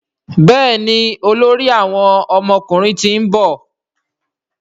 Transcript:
Béèni olórí àwọn ọmọkùnrin t'in nbọ.